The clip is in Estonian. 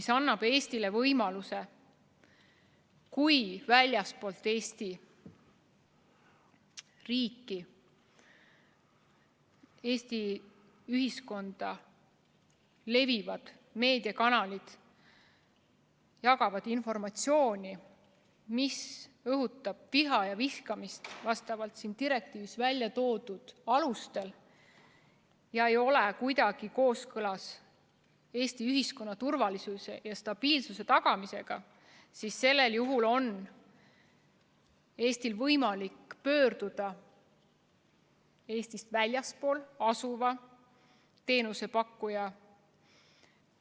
See annab Eestile võimaluse: kui väljaspool Eesti riiki, Eesti ühiskonda asuvad meediakanalid jagavad siin informatsiooni, mis õhutab viha ja vihkamist selles direktiivis välja toodud alustel ega ole kuidagi kooskõlas Eesti ühiskonna turvalisuse ja stabiilsuse tagamisega, siis sellisel juhul on Eestil võimalik pöörduda Eestist väljaspool asuva teenusepakkuja